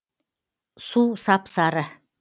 су сап сары